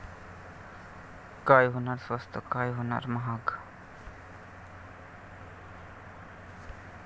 काय होणार स्वस्त, काय होणार महाग?